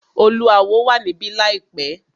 Oluawo wà níbí láìpẹ́.